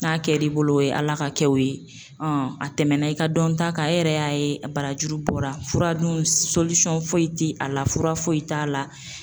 N'a kɛ l'i bolo o ye ala ka kɛw ye a tɛmɛna i ka dɔnta kan, e yɛrɛ y'a ye barajuru bɔra fura dun foyi tɛ a la fura foyi t'a la.